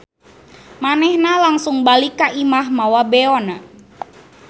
Manehna langsung balik ka imah mawa beona.